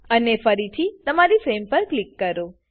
અને ફરીથી તમારી ફ્રેમ પર ક્લિક કરો